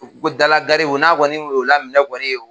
U ko dalagaribu n'a kɔni ye o laminɛ kɔni